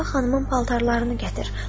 Sabah xanımın paltarlarını gətir.